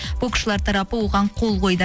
боксшылар тарапы оған қол қойды